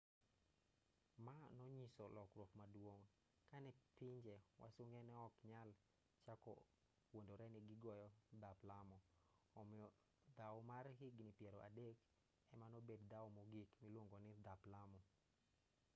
ma nonyiso lokruok maduong' kane pinje wasunge neok nyal chako wuondore ni gigoyo dhap lamo omiyo dhaw mar higni piero adek emanobed dhaw mogik miluongoni dhap lamo